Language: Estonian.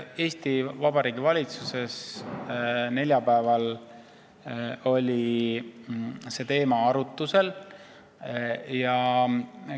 Neljapäeval oli see teema Eesti Vabariigi valitsuses arutuse all.